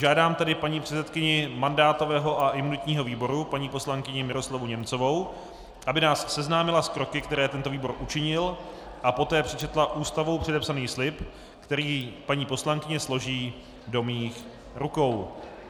Žádám tedy paní předsedkyni mandátového a imunitního výboru paní poslankyni Miroslavu Němcovou, aby nás seznámila s kroky, které tento výbor učinil, a poté přečetla Ústavou předepsaný slib, který paní poslankyně složí do mých rukou.